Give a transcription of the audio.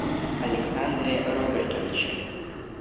александре робертовиче